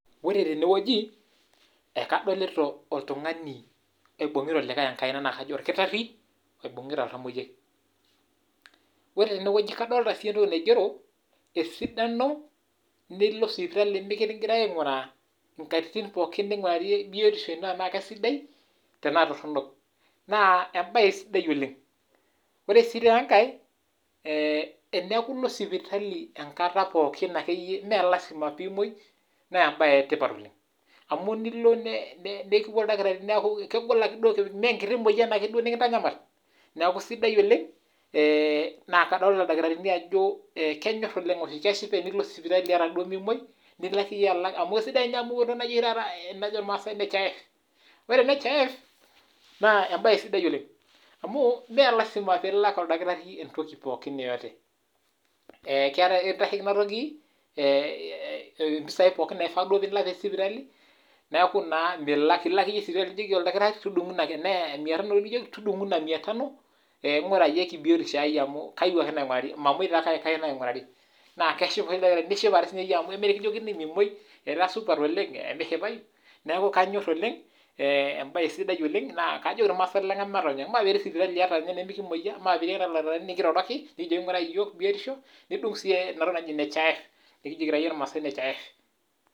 Kadolita oltungani oibungita olikae enkaina na kajo korkitari oibungita oltamoyiai. Nadolita si irkigerot oigero oojo tabau sipitali mikingurari biotisho ino, neetae si ninye etoki naji nhif na kesidai oooleng amu etoki nikitasheki te nchoto ebiotisho.